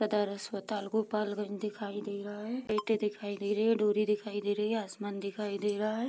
सदर अस्पताल गोपालगंज दिखाई दे रहा है ईटें दिखाई दे रही है डोरी दिखाई दे रही है आसमान दिखाई दे रहा है।